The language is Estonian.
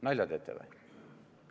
Nalja teete või?